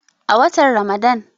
a watan Ramadan